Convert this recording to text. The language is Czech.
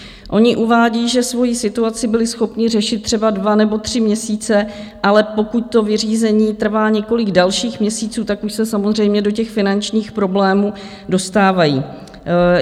Oni uvádí, že svoji situaci byli schopni řešit třeba dva nebo tři měsíce, ale pokud to vyřízení trvá několik dalších měsíců, tak už se samozřejmě do těch finančních problémů dostávají.